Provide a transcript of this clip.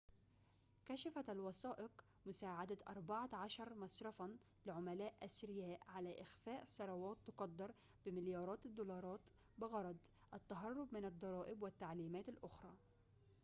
كشفت الوثائق مساعدة أربعة عشر مصرفاً لعملاء أثرياء على إخفاء ثروات تقدّر بمليارات الدولارات بغرض التهرّب من الضرائب والتعليمات الأخرى